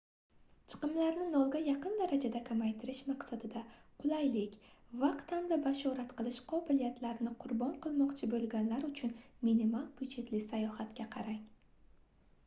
chiqimlarni nolga yaqin darajada kamaytirish maqsadida qulaylik vaqt hamda bashorat qilish qobiliyatini qurbon qilmoqchi boʻlganlar uchun minimal byudjetli sayohatga qarang